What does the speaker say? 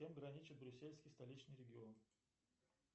с кем граничит брюссельский столичный регион